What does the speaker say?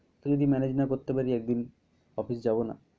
তো যদি manage না করতে পারি একদিন office যাব না।